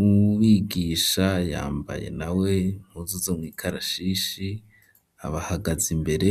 uwubigisha yambaye nawe impuzu zo mw'ikarashishi abahagaze imbere